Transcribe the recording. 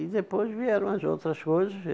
E depois vieram as outras coisas.